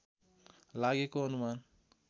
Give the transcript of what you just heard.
लागेको अनुमान